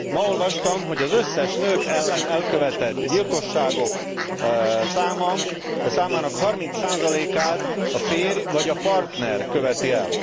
Ma olvastam, hogy az összes nők ellen elkövetett gyilkosságok számának harminc százalékát a férj, vagy a partner követi el.